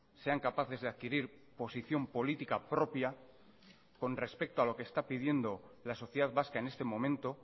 sean capaces de adquirir posición política propia con respecto a lo que está pidiendo la sociedad vasca en este momento